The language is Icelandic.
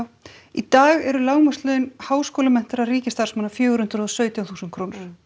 í dag eru lágmarkslaun háskólamenntaðra ríkisstarfsmanna fjögur hundruð og sautján þúsund krónur